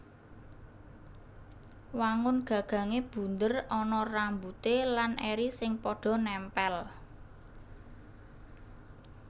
Wangun gagangé bunder ana rambute lan eri sing padha nèmpèl